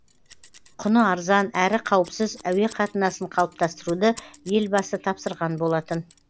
құны арзан әрі қауіпсіз әуе қатынасын қалыптастыруды елбасы тапсырған болатын